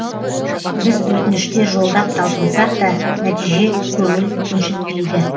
біз өтініштер жолдап талпынсақ та нәтиже көңіл көншітпейді